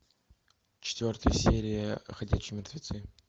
четвертая серия ходячие мертвецы